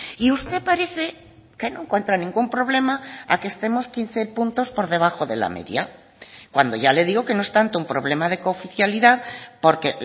y usted parece que no encuentra ningún problema a que estemos quince puntos por debajo de la media cuando ya le digo que no es tanto un problema de cooficialidad porque